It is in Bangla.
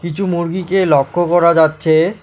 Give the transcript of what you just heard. কিছু মুরগিকে লক্ষ করা যাচ্ছে।